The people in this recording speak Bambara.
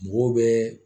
Mɔgɔw bɛ